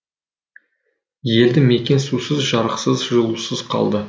елді мекен сусыз жарықсыз жылусыз қалды